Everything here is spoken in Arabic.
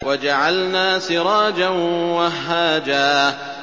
وَجَعَلْنَا سِرَاجًا وَهَّاجًا